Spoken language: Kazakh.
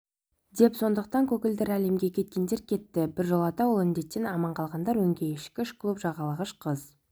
деп сондықтан көгілдір әлемге кеткендер кетті біржолата ол індеттен аман қалғандар өңкей ішкіш клуб жағалағыш қыз